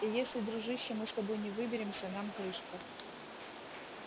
и если дружище мы с тобой не выберемся нам крышка